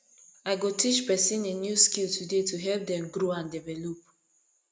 i go teach pesin a new skill today to help dem grow and develop